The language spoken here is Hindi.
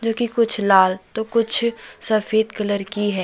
जोकि कुछ लाल तो कुछ सफेद कलर की है।